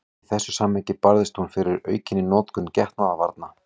Í þessu samhengi barðist hún fyrir aukinni notkun getnaðarvarna.